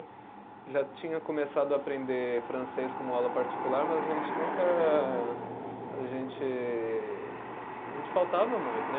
Já tinha começado a aprender francês como aula particular, mas a gente nunca, a gente, a gente faltava muito, né?